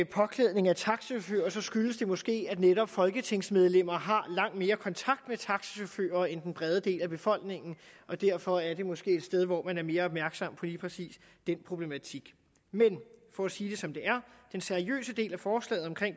påklædning af taxachauffører skyldes det måske at netop folketingsmedlemmer har langt mere kontakt med taxachauffører end den brede del af befolkningen og derfor er det måske et sted hvor man er mere opmærksom på lige præcis den problematik men for at sige det som det er den seriøse del af forslaget om